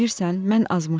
Bilirsən, mən azmışdım.